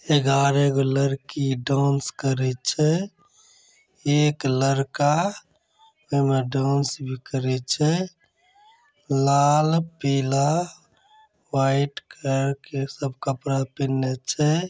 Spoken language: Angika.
एगारह गो लड़की डाँस करे छै एक लड़का इ में डांस भी करे छै लाल पीला वाइट कलर के सब कपड़ा पहनले छे।